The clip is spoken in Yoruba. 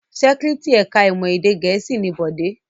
Secretary ẹ̀ka-ìmọ̀ èdè Gẹ̀ẹ́sì ni Bọ̀dé.